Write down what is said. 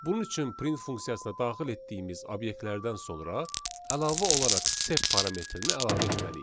Bunun üçün print funksiyasına daxil etdiyimiz obyektlərdən sonra əlavə olaraq sep parametrini əlavə etməliyik.